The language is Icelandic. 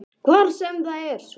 Hver sem það svo er.